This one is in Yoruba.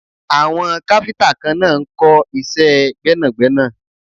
Àwọn káfíntà kan náà ń kọ́ iṣẹ́ gbẹ́nàgbẹ́nà.